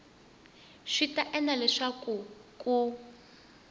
swi ta endla leswaku ku